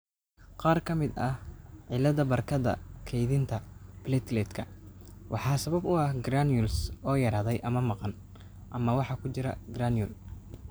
Qaar ka mid ah cilladaha barkadda kaydinta plateletka waxaa sabab u ah granules oo yaraaday ama maqan ama waxa ku jira granule.